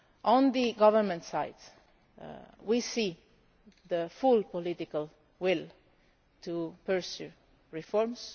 On the government side, we see the full political will to pursue reforms.